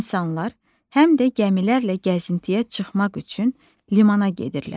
İnsanlar həm də gəmilərlə gəzintiyə çıxmaq üçün limana gedirlər.